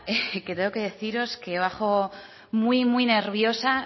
que tengo que deciros que bajo muy nerviosa